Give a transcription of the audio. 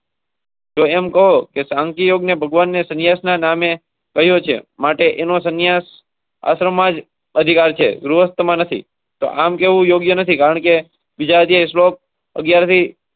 હમકોને ભગવાનને સન્યાસના નામે. માટેનો સંન્યાસ. અસરમાં. આમ કેવુ યોગ્ય નથી કારણ કે.